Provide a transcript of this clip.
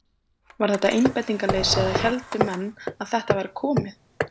Var þetta einbeitingarleysi eða héldu menn að þetta væri komið?